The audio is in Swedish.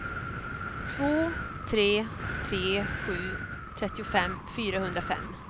två tre tre sju trettiofem fyrahundrafem